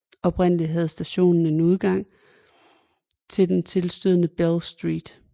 Oprindeligt havde stationen en udgang til den tilstødende Bell Street